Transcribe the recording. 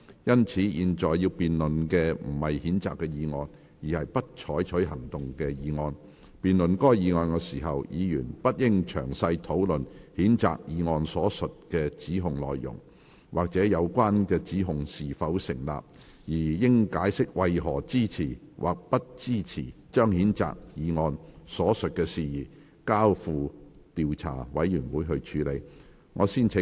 因此，本會現在要辯論的不是譴責議案，而是"不採取行動"的議案。辯論該議案時，議員不應詳細討論譴責議案所述的指控內容，或有關指控是否成立，而應解釋為何支持或不支持將譴責議案所述的事宜，交付調查委員會處理。